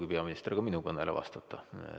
Ei pruugi peaminister ka minu kõnele vastata.